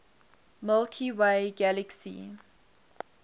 milky way galaxy